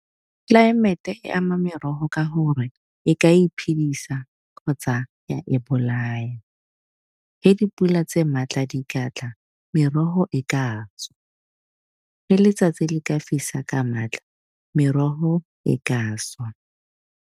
Tlelaemete e ama merogo ka gore e ka e phidisa kgotsa ya e bolaya. Ge dipula tse maatla di ka tla merogo e ka swa le letsatsi le ka fisa ka maatla merogo e ka swa.